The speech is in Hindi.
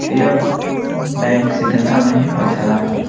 यह बैंक सिकंदरा में ही पड़ता है।